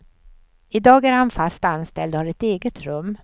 I dag är han fast anställd och har ett eget rum.